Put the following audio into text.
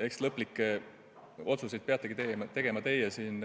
Eks lõplikud otsused peategi tegema teie siin